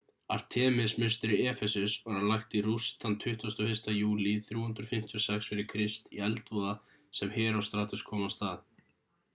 artemis-musteri efesus var lagt í rúst þann 21. júlí 356 f.kr í eldvoða sem herostratus kom af stað